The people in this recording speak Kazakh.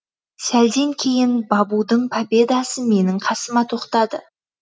сәлден кейін бабудың победасы менің қасыма тоқтады